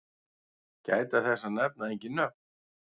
Gæta þess að nefna engin nöfn.